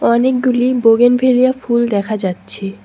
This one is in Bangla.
অনেকগুলি বোগেন ভেলিয়া ফুল দেখা যাচ্ছে।